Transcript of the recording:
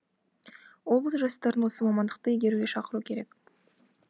облыс жастарын осы мамандықты игеруге шақыру керек